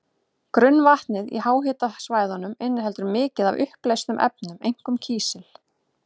Grunnvatnið í háhitasvæðunum inniheldur mikið af uppleystum efnum, einkum kísil.